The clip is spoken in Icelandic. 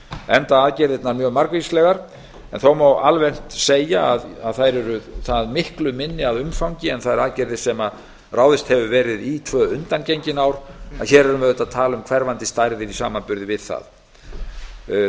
enda aðgerðirnar mjög margvíslegar þó má almennt segja að þær eru það miklu minni að umfangi en þær aðgerðir sem ráðist hefur verið í tvö undangengin ár en hér erum við auðvitað að tala um hverfandi stærðir í samanburði við það